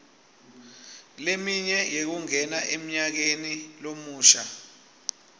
leminye yekungena emnyakemi lomusha